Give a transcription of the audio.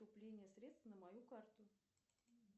поступление средств на мою карту